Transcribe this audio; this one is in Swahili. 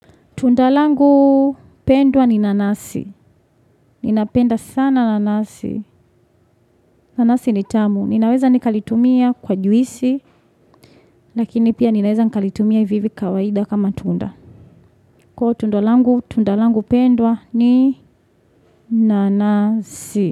Tunda langu pendwa ni nanasi, ninapenda sana nanasi. Nanasi ni tamu, ninaweza nikalitumia kwa juisi, lakini pia ninaweza nikalitumia hivi hivi kawaida kama tunda. Kwa tunda langu, tunda langu pendwa ni nanasi.